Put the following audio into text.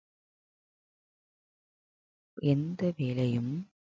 எந்த வேலையும்